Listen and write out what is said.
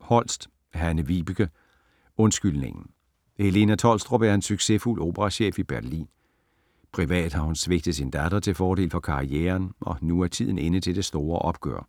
Holst, Hanne-Vibeke: Undskyldningen Helena Tholstrup er en succesfuld operachef i Berlin. Privat har hun svigtet sin datter til fordel for karrieren, og nu er tiden inde til det store opgør.